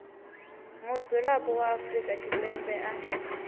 mudzulapo wa afrika tshipembe a